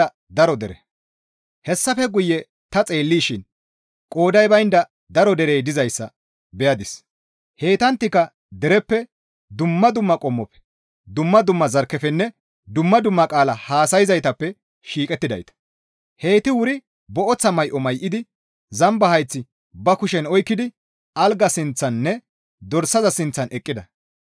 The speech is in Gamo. Hessafe guye ta xeellishin qooday baynda daro derey dizayssa beyadis; heytanttika dereppe, dumma dumma qommofe, dumma dumma zarkkefenne dumma dumma qaala haasayzaytappe shiiqettidayta. Heyti wuri booththa may7o may7idi zamba hayth ba kushen oykkidi algaa sinththaninne dorsaza sinththan eqqida.